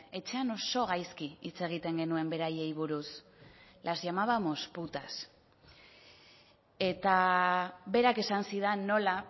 etxean oso gaizki hitz egiten genuen beraiei buruz las llamábamos putas eta berak esan zidan nola